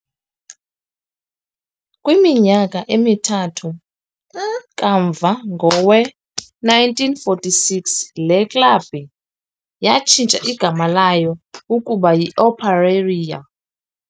Kwiminyaka emithathu kamva, ngowe-1946, le klabi yatshintsha igama layo laya kuba yiOperário.